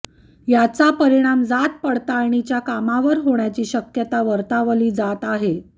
याचा परिणाम जात पडताळणीच्या कामावर होण्याची शक्यता वर्तवली जात आहे